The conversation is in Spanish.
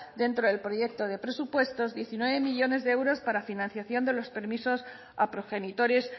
dentro del proyecto de presupuestos diecinueve millónes de euros para financiación de los permisos a progenitores